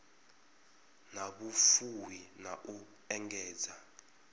na vhufuwi na u engedza